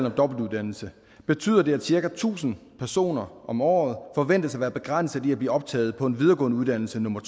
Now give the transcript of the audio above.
om dobbeltuddannelse betyder det at cirka tusind personer om året forventes at være begrænset i at blive optaget på en videregående uddannelse nummer